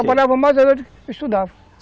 Eu trabalhava mais da noite, estudava.